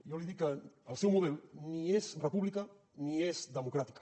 jo li dic que el seu model ni és república ni és democràtica